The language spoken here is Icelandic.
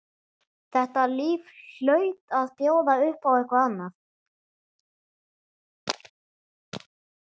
Þetta líf hlaut að bjóða upp á eitthvað annað.